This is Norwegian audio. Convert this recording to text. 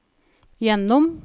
gjennom